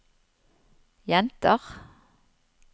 jenter